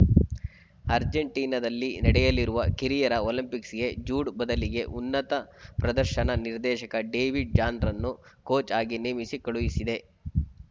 ಅರ್ಜೆಂಟೀನಾದಲ್ಲಿ ನಡೆಯಲಿರುವ ಕಿರಿಯರ ಒಲಿಂಪಿಕ್ಸ್‌ಗೆ ಜೂಡ್‌ ಬದಲಿಗೆ ಉನ್ನತ ಪ್ರದರ್ಶನ ನಿರ್ದೇಶಕ ಡೇವಿಡ್‌ ಜಾನ್‌ರನ್ನು ಕೋಚ್‌ ಆಗಿ ನೇಮಿಸಿ ಕಳುಹಿಸಿದೆ